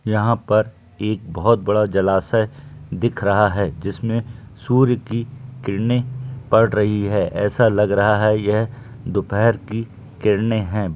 यहां पर एक बहोत बड़ा जलाशय दिख रहा हैं जिसमें सूर्य की किरने पड़ रही हैं ऐसा लग रहा है की यह दोपहर की किरने है।